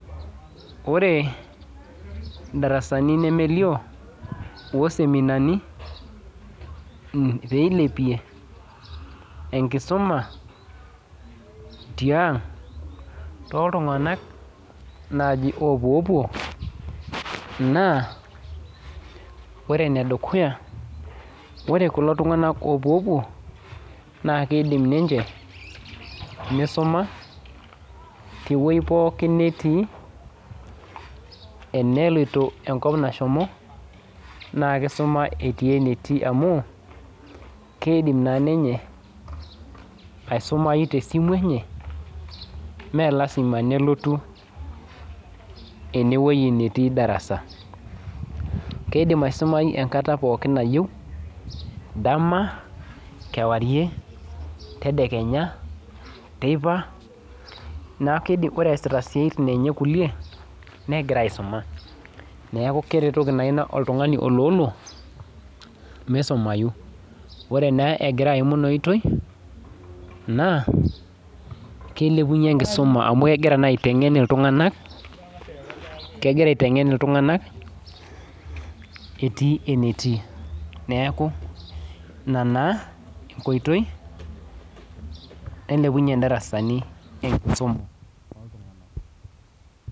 Ore ndarasani lemelio oseminani peilepie enkisuma tiang toltunganak nai opuoopuo na ore kulo tunganak opuoopuo na kidim ninche nisuma tewoi pooki natii enepoyie enkop nashomo na kisuma etii enetii amu kidim na ninye aisumai tesimu enye melasima nelotu enewoi natii darasa kidim aisumai esaa pooki nayieu, dama kewarie tedekenya teipa neaku ore easita siatin enye kulie neidim negira aisuma neaku keretoki oltungani oloolo misumai ore na egira aim inaoitoi na kilepunye enkisuma amu kegira aitengen ltunganak etii enetii neaku ina na enkoitoi nailepunye ndarasani enkisuma.